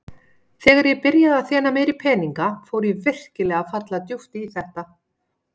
Þegar ég byrjaði að þéna meiri peninga fór ég virkilega að falla djúpt í þetta.